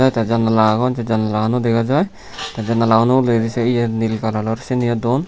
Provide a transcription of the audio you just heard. te janala agon te janala guno dega jai te janala guno uguredi se yet nil kalaror seni yo duon.